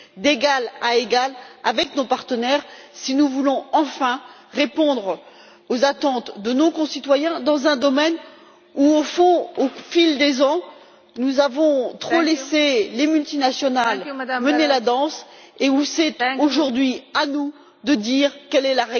d'égal à égal avec nos partenaires, si nous voulons enfin répondre aux attentes de nos concitoyens dans un domaine où au fond, au fil des ans, nous avons trop laissé les multinationales mener la danse et où c'est, aujourd'hui, à nous de dire quelle est